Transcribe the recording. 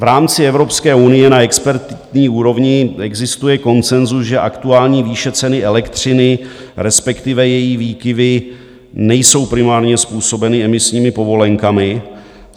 V rámci Evropské unie na expertní úrovni existuje konsenzus, že aktuální výše ceny elektřiny, respektive její výkyvy, nejsou primárně způsobeny emisními povolenkami.